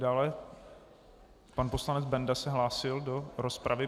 Dále pan poslanec Benda se hlásil do rozpravy.